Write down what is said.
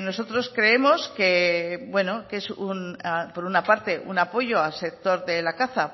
nosotros creemos que bueno que es por una parte un apoyo al sector de la caza